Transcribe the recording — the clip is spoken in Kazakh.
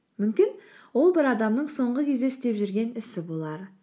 мүмкін ол бір адамның соңғы кезде істеп жүрген ісі болар